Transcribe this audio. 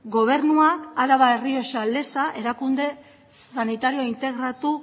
gobernuak araba errioxa leza erakunde sanitario integratu